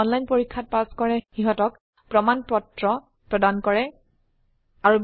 যি অনলাইন পৰীক্ষা পাস কৰে সিহতক প্ৰশংসাপত্ৰ সাৰ্টিফিকেট ও দিয়া হয়